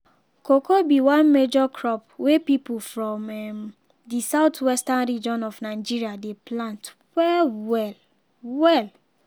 cocoa be one major crop wey pipo from um the southwestern region of nigeria dey plant wel wel. wel.